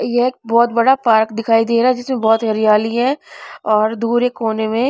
ये एक बहुत बड़ा पार्क दिखाई दे रहा है जिसमें बहुत हरियाली है और दूर एक कोने में--